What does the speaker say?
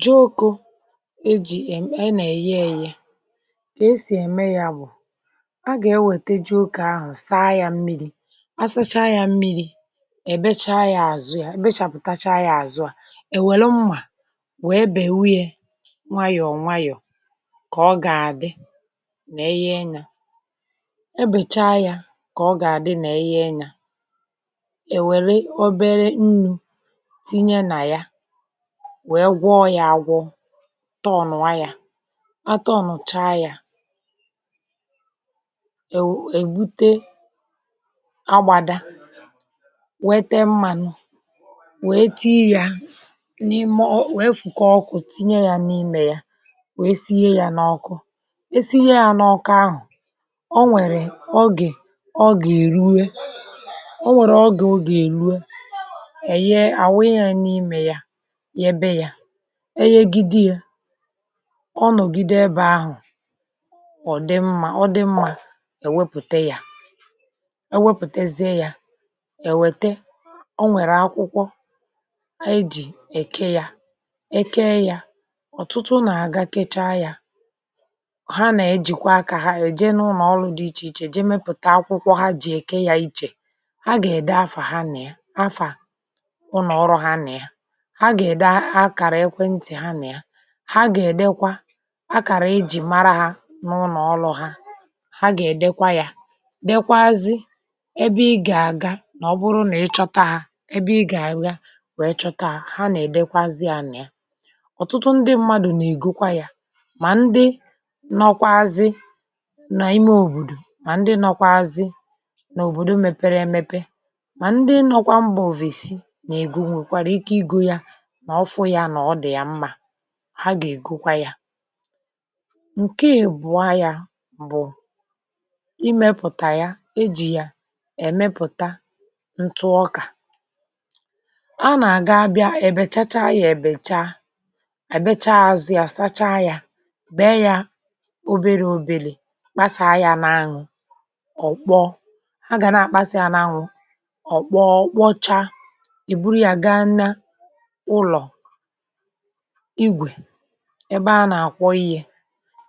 jụụkọ̇ e jì è e nà-èyi ėyė kà esì ème yȧ bụ̀ a gà-ewète jụụkà ahụ̀, saa yȧ mmiri̇, asacha yȧ mmiri̇, èbecha yȧ àzụ yȧ, ebechàpụ̀tacha yȧ àzụ, à èwère mmà wèe bèwu ye nwanyọ̀ọ̀ nwanyọ̀ kà ọ gà-àdị nà-eyi enyȧ um, ebècha yȧ kà ọ gà-àdị nà-eyi enyȧ. Èwère obere nnụ̇, tọọ̀nụ̀ wayà, atọọ̀nụ̀ cha yà èwù um, èbute agbàda, wete mmȧnụ̇, wė etii yȧ n’ime ò, wee fùkọ ọkụ̇, tinye yȧ n’imė yȧ, wė sie yȧ n’ọkụ, e sie yȧ n’ọkụ ahụ̀. O nwèrè ogè ọ gà-èrue, o nwèrè ọ gà-èrue èye àwụ, ihe yȧ n’imė yȧ e yegide yȧ, ọ nọ̀gide ebe ahụ̀. Ọ dị mmȧ, ọ dị mmȧ, èwepùte yȧ, ewepùtezie yȧ, èwète o nwèrè akwụkwọ ejì èke yȧ, ekeė yȧ, ọ̀tụtụ ụnọ̀ agakịchaa yȧ um. Ha nà-ejìkwa akȧ ha èje n’ụlọ̀ dị ichè ichè, jee mepụ̀ta akwụkwọ ha jì èke yȧ, ichè ha gà-ède afà ha nà ya, afà ụnọ̀ ọrụ ha nà ya. Ha gà-èdekwa akàrà ijì mara hȧ n’ụnọ̀ ọlụ̇ ha, ha gà-èdekwa yȧ, dèkwa zi ebe ị gà-àga, nà ọ bụrụ nà ị chọta hȧ, ebe ị gà-ànyị ya wèe chọta hȧ, nà-èdekwazi ȧnà ya. Ọ̀tụtụ ndị̇ mmadụ̀ nà-ègokwa yȧ, mà ndị nọkwa azị nà ime òbòdò, mà ndị nọkwa azị nà òbòdò mepere emepe, mà ndị nọkwa mbà òvèsi nà-ègò. Nwèkwara ike igȯ ya, ha gà-ègokwa ya ǹke à èbụọ ya bụ̀ imėpụ̀tà ya, ejì ya èmepụ̀ta ntụ ọkà, a nà-àga bịa èbèchacha ya, èbècha èbecha azu ya, sacha ya, be ya, o biri òbelè, kpasàa ya n’anwụ̇, ọ̀ kpọ, ha gà na-àkpasà ya n’anwụ̇, ọ̀ kpọọ, ọ̀ kpocha, èburu ya ga nna igwè, ebe a nà-àkwọ yi̇ẹ̇